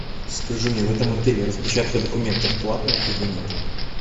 скажи мне в этом отеле распечатка документов платная или нет